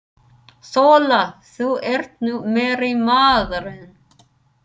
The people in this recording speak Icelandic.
SÓLA: Þú ert nú meiri maðurinn!